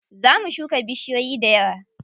Za mu shuka bishiyoyi dayawa.